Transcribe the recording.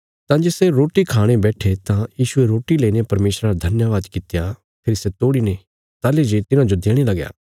तां जे सै रोटी खाणे बैट्ठे तां यीशुये रोटी लेईने परमेशरा रा धन्यवाद कित्या फेरी सै तोड़ीने ताहली जे तिन्हाजो देणे लगया